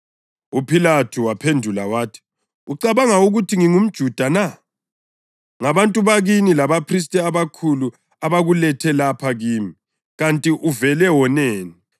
UPhilathu waphendula wathi, “Ucabanga ukuthi ngingumJuda na? Ngabantu bakini labaphristi abakhulu abakulethe lapha kimi. Kanti uvele woneni?”